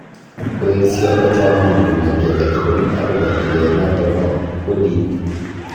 Koesyo Ojaamong komwa ki age tugul agobo tilet noto ba bodit